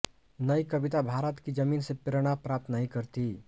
नई कविता भारत की जमीन से प्रेरणा प्राप्त नहीं करती